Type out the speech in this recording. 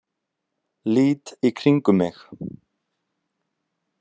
Lít í kringum mig.